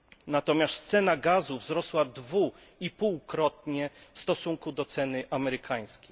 Natomiast cena gazu wzrosła 2,5 krotnie w stosunku do ceny amerykańskiej.